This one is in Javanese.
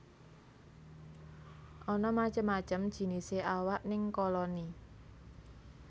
Ana macem macem jinisé awak ning koloni